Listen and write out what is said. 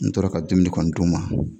N tora ka dumuni kɔni d'o ma.